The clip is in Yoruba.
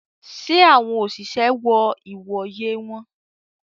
Ṣe awọn oṣiṣẹ wọ ìwòyè wọn?